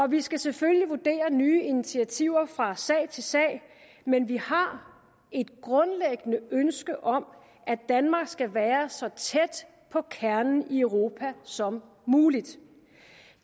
vi skal selvfølgelig vurdere nye initiativer fra sag til sag men vi har et grundlæggende ønske om at danmark skal være så tæt på kernen i europa som muligt